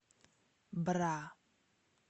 бра